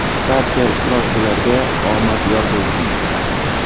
Barcha ishtirokchilarga omad yor bo‘lsin.